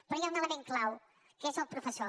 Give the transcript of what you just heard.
però hi ha un element clau que és el professor